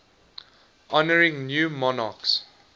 honouring new monarchs